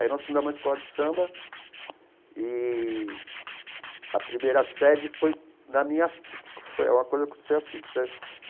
Aí nós fundamos uma escola de samba e a primeira sede foi na minha... Foi uma coisa que aconteceu assim que